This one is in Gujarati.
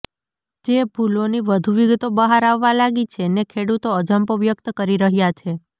જે ભૂલોની વધુ વિગતો બહાર આવવા લાગી છે ને ખેડૂતો અજંપો વ્યક્ત કરી રહ્યા છે